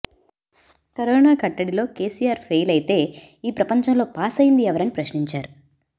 corona కట్టడిలో KCR fail అయితే ఈ ప్రపంచంలో పాసైంది ఎవరని ప్రశ్నించారు